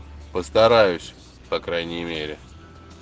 постараюсь по крайней мере